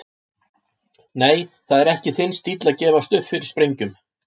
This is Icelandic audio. Nei, það er ekki þinn stíll að gefast upp fyrir sprengjum.